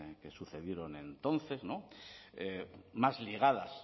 que sucedieron entonces más ligadas